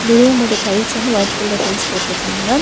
இந்த ரூமோட டைல்ஸ் வந்து வொய்ட் கலர் டைல்ஸ் போட்ருக்காங்க.